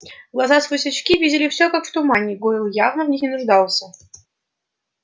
глаза сквозь очки видели всё как в тумане гойл явно в них не нуждался